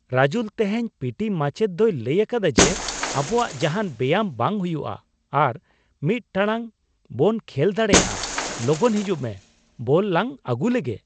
ᱨᱟᱡᱩᱞ! ᱛᱮᱦᱮᱧ P T ᱢᱟᱪᱮᱫ ᱫᱚ ᱞᱟᱹᱭ ᱟᱠᱟᱫᱟᱭ ᱡᱮ, ᱟᱵᱚᱣᱟᱜ ᱡᱟᱦᱟᱱ ᱵᱮᱭᱟᱢ ᱵᱟᱝ ᱦᱩᱭᱩᱜᱼᱟ ᱟᱨ ᱑ ᱴᱟᱲᱟᱝ ᱵᱚᱱ ᱠᱷᱮᱞ ᱫᱟᱲᱮᱭᱟᱜᱼᱟ ! ᱞᱚᱜᱚᱱ ᱦᱤᱡᱩᱜ ᱢᱮ, ᱵᱚᱞ ᱞᱟᱝ ᱟᱹᱜᱩᱞᱮᱜᱮ !